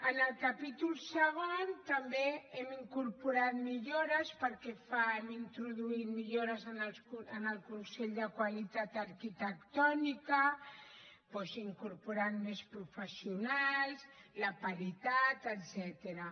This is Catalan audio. en el capítol segon també hem incorporat millores hem introduït millores en el consell de qualitat arquitectònica doncs incorporant més professionals la paritat etcètera